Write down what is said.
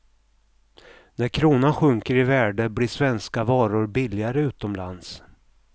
När kronan sjunker i värde blir svenska varor billigare utomlands.